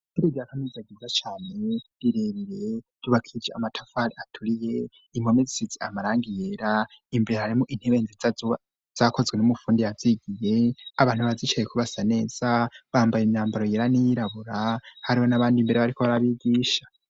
Ishure rya Kaminuza ryiza cane rirerire ryubakije amatafari aturiye impome zisitse amarangi yera imbere harimo intebe nzitza zakozwe n'umufundi yabyigiye abantu bazicaye kubasa neza bambaye imyambaro yera n'iyirabura hariho n'abandi mbere bariko barabigisha.